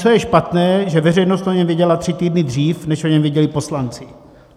Co je špatné, že veřejnost o něm věděla tři týdny dřív, než o něm věděli poslanci.